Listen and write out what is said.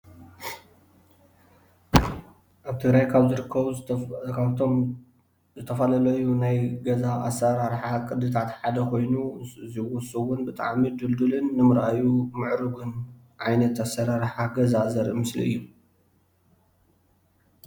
ኣብ ትግራዬ ካብ ዝርከቡ ካፍቶም ዝተፈላለዩ ናይ ገዛ ኣስራርሓ ቅድታታት ሓደ ኾይኑ ንሱ እውን ብጣዕሚ ዱልዱልን ንምርኣዩ ምዕሩግን ዓይነት ኣሰራርሓን ዘርኢ ምስሊ እዩ።